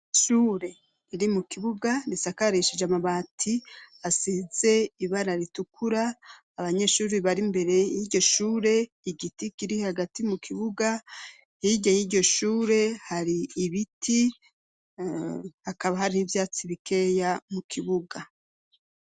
Ishure riri mu kibuga risakarishije amabati asize ibara ritukura, abanyeshure bari imbere y'iryo shure, igiti kiri hagati mu kibuga, hirya y'iryo shure hari ibiti, hakaba hari n'ivyatsi bikeya mu kibuga.